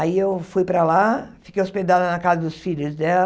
Aí eu fui para lá, fiquei hospedada na casa dos filhos dela,